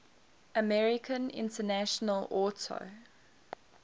american international auto